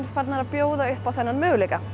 farnar að bjóða upp á þann möguleika